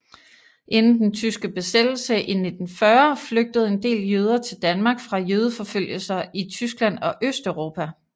Inden den tyske besættelse i 1940 flygtede en del jøder til Danmark fra jødeforfølgelser i Tyskland og Østeuropa